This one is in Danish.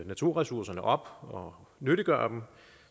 naturressourcerne op og nyttiggøre dem